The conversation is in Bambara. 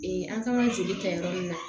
Ee an kan ka joli kɛ yɔrɔ min na